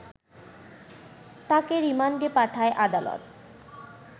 তাকে রিমান্ডে পাঠায় আদালত